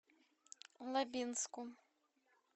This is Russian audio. лабинску